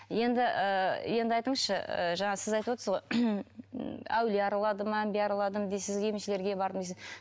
енді ы енді айтыңызшы ы жаңа сіз айтып отырсыз ғой әулие араладым әмбие араладым дейсіз емшілерге бардым дейсіз